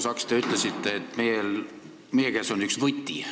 Proua Saks, te ütlesite, et meie käes on üks võti.